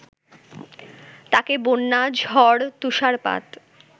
তাকে বন্যা, ঝড়, তুষারপাত